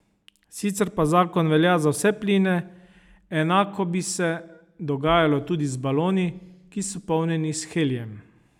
Sicer pa zakon velja za vse pline, enako bi se dogajalo tudi z baloni, ki so polnjeni s helijem.